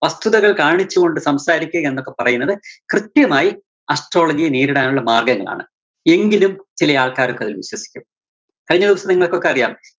വസ്തുതകള്‍ കാണിച്ചുകൊണ്ട് സംസാരിക്ക എന്നൊക്കെ പറയുന്നത് കൃത്യമായി astrology യെ നേരിടാനുള്ള മാര്‍ഗ്ഗങ്ങളാണ്. എങ്കിലും ചെലയാള്‍ക്കാരൊക്കെ അതില്‍ വിശ്വസിക്കും. കഴിഞ്ഞ ദിവസം നിങ്ങള്‍ക്കൊക്കെ അറിയാം